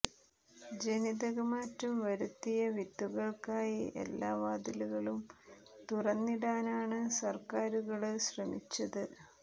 ജനിതക മാറ്റം വരുത്തിയ വിത്തുകള്ക്കായി എല്ലാ വാതിലുകളും തുറന്നിടാനാണ് സര്ക്കാരുകള് ശ്രമിച്ചത്